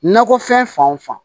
Nakɔfɛn fan o fan